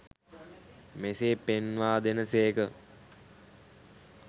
මෙසේ පෙන්වා දෙන සේක.